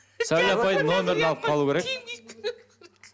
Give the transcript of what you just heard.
сәуле апайдың нөмірін алып қалу керек